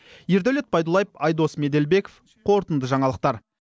ердәулет байдуллаев айдос меделбеков қорытынды жаңалықтар